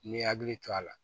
N'i hakili to a la